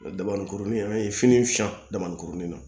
Dabanikurunin an ye fini fiyɛ dabaninkurunin na